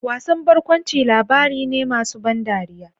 Wasan barkwanci labari ne masu ban dariya.